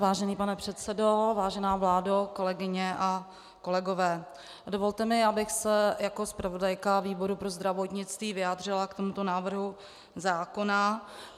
Vážený pane předsedo, vážená vládo, kolegyně a kolegové, dovolte mi, abych se jako zpravodajka výboru pro zdravotnictví vyjádřila k tomuto návrhu zákona.